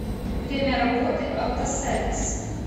время работы автосервис